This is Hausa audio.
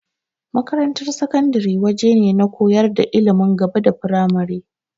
Makarantar sakandare waje ne na koyar da ilimin gaba da firamare.